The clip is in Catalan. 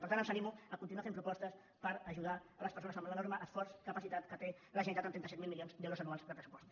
per tant els animo a continuar fent propostes per ajudar les persones amb l’enorme esforç capacitat que té la generalitat amb trenta set mil milions d’euros anuals de pressupost